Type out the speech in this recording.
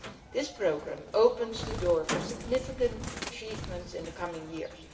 This programme opens the door for significant achievements in the coming years.